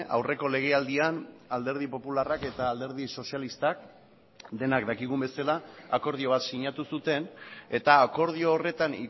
aurreko legealdian alderdi popularrak eta alderdi sozialistak denak dakigun bezala akordio bat sinatu zuten eta akordio horretan